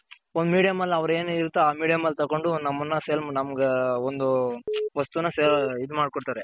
ಒಂದ್ Medium ಆಲ್ ಅವ್ರ್ ಏನ್ ಹೇಳಿರ್ತಾರೋ ಆ ಮೀಡಿಯಂ ಅಲ್ ತಗೊಂಡು ನಮ್ಮಣ್ಣ ನಮ್ಗೆ ಒಂದು ವಸ್ತುನ ಇದ್ ಮಾಡ್ ಕೊಡ್ತಾರೆ.